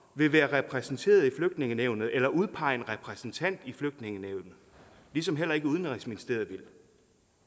vil være repræsenteret i flygtningenævnet eller udpege en repræsentant i flygtningenævnet ligesom heller ikke udenrigsministeriet bliver det